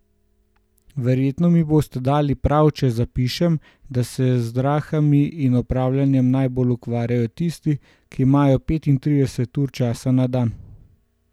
Verjetno mi boste dali prav, če zapišem, da se z zdrahami in opravljanjem najbolj ukvarjajo tisti, ki imajo petintrideset ur časa na dan!